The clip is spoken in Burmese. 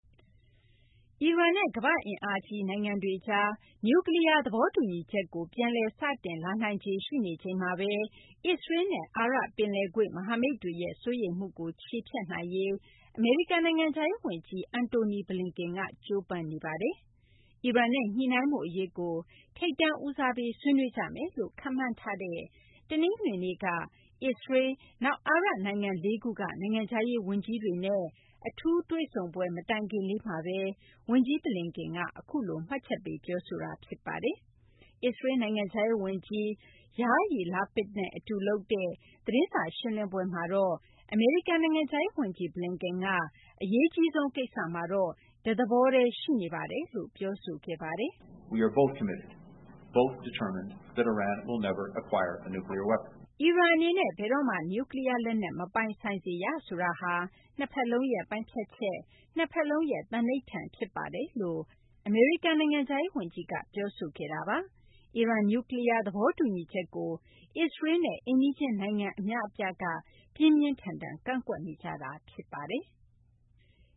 အီရန်နဲ့ ကမ္ဘာ့အင်အားကြီး နိုင်ငံတွေကြား နျူကလီးယား သဘောတူညီချက်ကို ပြန်လည်စတင်လာနိုင်ခြေ ရှိနေချိန်မှာပဲ အစ္စရေးလ်နဲ့ အာရပ်ပင်လယ်ကွေ့ မဟာမိတ်တွေရဲ့ စိုးရိမ်မှုကို ချေဖျက်နိုင်ရေး အမေရိကန် နိုင်ငံခြားရေးဝန်ကြီး Antony Blinken က ကြိုးပမ်းနေပါတယ်။ အီရန်နဲ့ ညှိနှိုင်းမှုအရေးကို ထိပ်တန်းဦးစားပေး ဆွေးနွေးကြမယ်လို့ ခန့်မှန်းထားတဲ့ တနင်္ဂနွေနေ့က အစ္စရေးလ်၊ နောက် အာရပ်နိုင်ငံလေးခုက နိုင်ငံခြားရေးဝန်ကြီးတွေနဲ့ အထူးတွေ့ဆုံပွဲ မတိုင်ခင်လေးမှာဘဲ ဝန်ကြီး Blinken က အခုလို မှတ်ချက်ပေး ပြောဆိုခဲ့တာ ဖြစ်ပါတယ်။ အစ္စရေးလ် နိုင်ငံခြားရေးဝန်ကြီး Yair Lapid နဲ့ အတူလုပ်တဲ့ သတင်းစာရှင်းလင်းပွဲမှာတော့ အမေရိကန် နိုင်ငံခြားရေးဝန်ကြီး Blinken က “အရေးကြီးဆုံးကိစ္စမှာတော့ ကျနော်တို့ တသဘောတည်းရှိပါတယ်” ပြောဆိုခဲ့ပါတယ်။ “အီရန်အနေနဲ့ ဘယ်တော့မှ နျူကလီးယားလက်နက် မပိုင်ဆိုင်စေရ ဆိုတာဟာ နှစ်ဖက်လုံးရဲ့ ပိုင်းဖြတ်ချက်၊ နှစ်ဖက်လုံးရဲ့ သန္နိဋ္ဌာန် ဖြစ်ပါတယ်။” လို့ အမေရိကန် နိုင်ငံခြားရေးဝန်ကြီးက ပြောဆိုခဲ့တာပါ။ အီရန် နျူကလီးယား သဘောတူညီချက်ကို အစ္စရေးလ်နဲ့ အိမ်နီးချင်းနိုင်ငံ အများအပြားက ပြင်းပြင်းထန်ထန် ကန့်ကွက်နေကြတာ ဖြစ်ပါတယ်။